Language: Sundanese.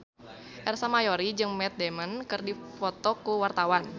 Ersa Mayori jeung Matt Damon keur dipoto ku wartawan